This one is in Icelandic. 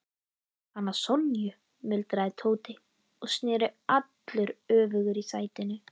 Hana Sonju? muldraði Tóti og sneri allur öfugur í sætinu.